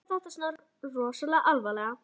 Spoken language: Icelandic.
Að vera að taka þetta svona alvarlega.